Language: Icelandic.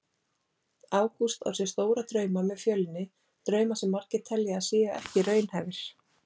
Ágúst á sér stóra drauma með Fjölni, drauma sem margir telja að séu ekki raunhæfir.